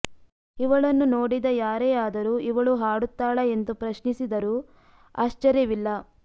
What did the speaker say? ಇವಳನ್ನು ನೋಡಿದ ಯಾರೇ ಆದರೂ ಇವಳೂ ಹಾಡುತ್ತಾಳಾ ಎಂದು ಪ್ರಶ್ನಿಸಿದರೂ ಆಶ್ಚರ್ಯವಿಲ್ಲ